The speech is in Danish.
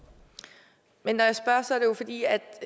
man